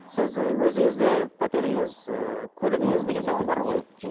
сіз і өзіңізде пәтеріңіз ы көлігіңіз деген сияқты бар ғой